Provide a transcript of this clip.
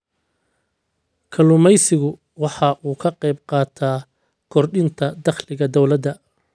Kalluumaysigu waxa uu ka qayb qaataa kordhinta dakhliga dawladda.